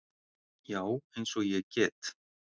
Já, eins og ég get.